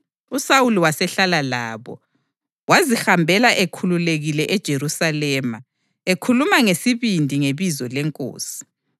USawuli wasehlala labo, wazihambela ekhululekile eJerusalema, ekhuluma ngesibindi ngebizo leNkosi.